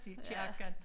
Det kirken